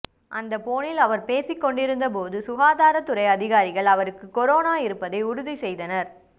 அந்த போனில் அவர் பேசிக்கொண்டிருந்த போது சுகாதாரத்துறை அதிகாரிகள் அவருக்கு கொரோனா இருப்பதை உறுதி செய்தனர்